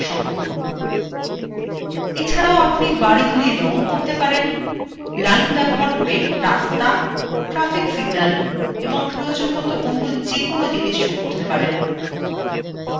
মানচিত্র সম্পূর্ণ! এছাড়াও আপনি বাড়িগুলি রঙ করতে পারেন; lines ব্যবহার করে রাস্তা traffic signals এবং প্রয়োজনমত any যেকোন জিনিস যোগ করতে পারেন